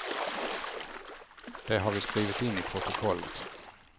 Det har vi skrivit in i protokollet.